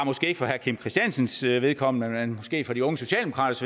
ikke for herre kim christiansens vedkommende men måske for de unge socialdemokraters